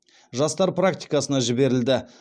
жастар практикасына жіберілді